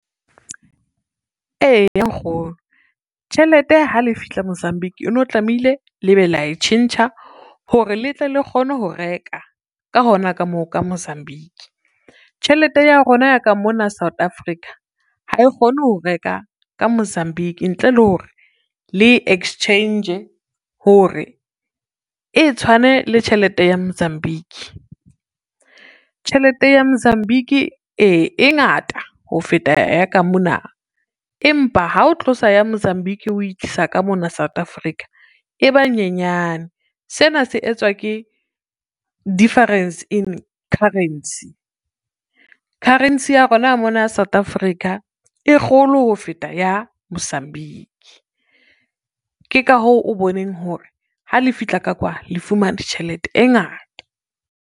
Eya nkgono tjhelete ha le fihla Mozambique, eno tlamehile le be la e tjhentjha hore le tle le kgone ho reka ka hona ka moo ka Mozambique. Tjhelete ya rona ya ka mona South Africa ha e kgone ho reka ka Mozambique ntle le hore le exchange hore, e tshwane le tjhelete ya Mozambique. Tjhelete ya Mozambique ee, e ngata ho feta ya ka mona, empa ha o tlosa ya Mozambique o itlisa ka mona South Africa e ba nyenyane. Sena se etswa ke difference in currency, currency ya rona mona South Africa e kgolo ho feta ya Mozambique. Ke ka hoo o boneng hore ha le fihla ka kwa, le fumane tjhelete e ngata.